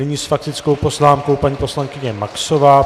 Nyní s faktickou poznámkou paní poslankyně Maxová.